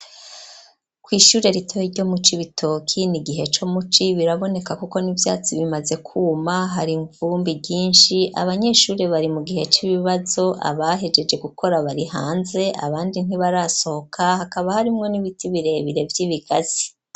Kw'ishure ritoyi ryo mu Cibitoki n'igihe co mu ci, biraboneka kuko n'ivyatsi bimaze kuma, hari ivumbi ryinshi, abanyeshure bari mu gihe c'ibibazo, abahejeje gukora bari hanze abandi ntibarasohoka, hakaba harimwo n'ibiti birebire vy'ibigazi.